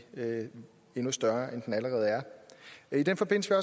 endnu større end den allerede er i den forbindelse